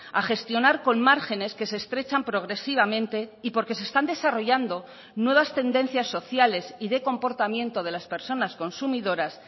a gestionar con márgenes que se estrechan progresivamente y porque se están desarrollando nuevas tendencias sociales y de comportamiento de las personas consumidoras